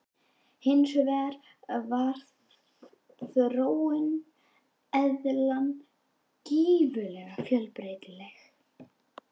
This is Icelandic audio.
Hins vegar var þróun eðlanna gífurlega fjölbreytileg.